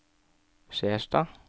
Skjerstad